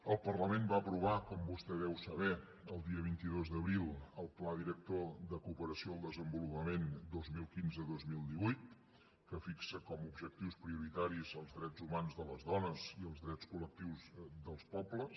el parlament va aprovar com vostè deu saber el dia vint dos d’abril el pla director de cooperació al desenvolupament dos mil quinze dos mil divuit que fixa com a objectius prioritaris els drets humans de les dones i els drets col·pobles